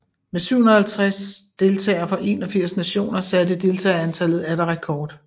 Med 357 deltagere fra 81 nationer satte deltagerantallet atter rekord